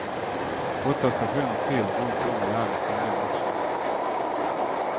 Åtta stationer till runt om i landet ingår också.